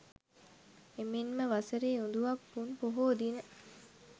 එමෙන්ම වසරේ උඳුවප් පුන් පොහෝ දින